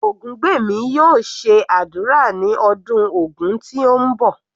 Ogungbemi yóò ṣe ádùrá ní ọdún Ògun tí ń bọ̀.